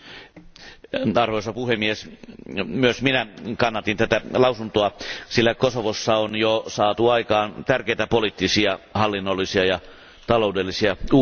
Arvoisa puhemies, myös minä kannatin tätä päätöslauselmaa, sillä Kosovossa on jo saatu aikaan tärkeitä poliittisia, hallinnollisia ja taloudellisia uudistuksia.